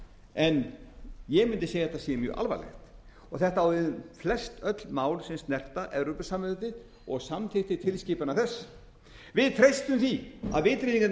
en ég mundi segja að þetta sé mjög alvarlegt og þetta á við flestöll mál sem snerta evrópusambandið og samþykktir tilskipana þess við treystum því að vitringarnir miklu